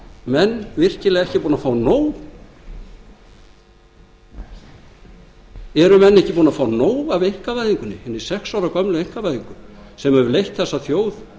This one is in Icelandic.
menn virkilega ekki búnir að fá nóg af einkavæðingunni hinni sex ára gömlu einkavæðingu sem hefur leitt þessa þjóð